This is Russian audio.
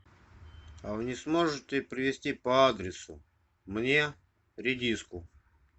а вы не сможете привезти по адресу мне редиску